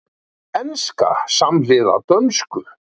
Enska samhliða dönsku